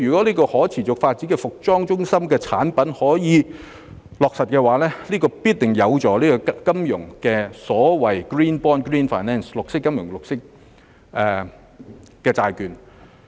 如可持續發展服裝中心得以落實的話，必定有助金融業推出所謂 Green Bond 及發展 Green Finance。